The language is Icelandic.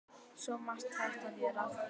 Svo margt hægt að gera.